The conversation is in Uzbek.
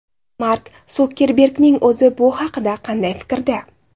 Mark Sukerbergning o‘zi bu haqda qanday fikrda?